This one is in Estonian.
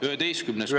11. punkt.